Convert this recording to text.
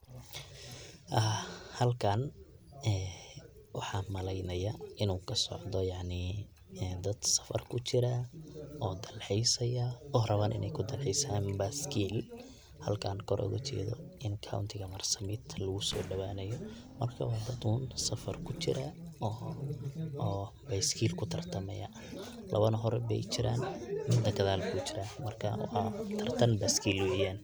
Aa Halkan ee waxaan maleynaya inu kasocda yacni dad safar kujiro oo dalxiisaya oo raban inay kudalxiisan baskeli halkan kor oga jeedo in kauntiga marbsabit lagusoodabanayo marka waa dad un safar kujira oo baskeli kutartamayo labana hor bay kujiran midna gadaal bu jira marka waa tartan baskeli weyan.